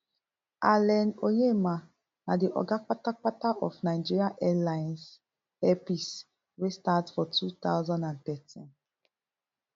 allen onyema na di oga kpatapata of nigeria airlines air peace wey start for two thousand and thirteen